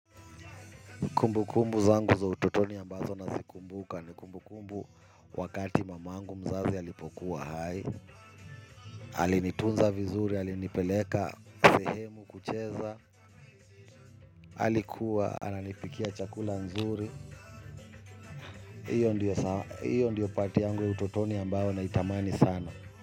Kumbu kumbu zangu za utotoni ambazo nazikumbuka ni kumbu kumbu wakati mamangu mzazi alipokuwa hai alinitunza vizuri alinipeleka sehemu kucheza alikuwa ananipikia chakula nzuri iyo ndio part yangu ya ututoni ambayo naitamani sana.